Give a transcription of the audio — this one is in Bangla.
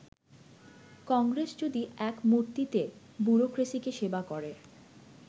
কংগ্রেস যদি ‘এক মূর্তি’তে ব্যুরোক্রেসিকে সেবা করে